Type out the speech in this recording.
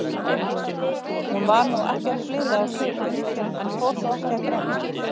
Hún varð nú ekkert blíðleg á svipinn, en fór þó ekki að grenja.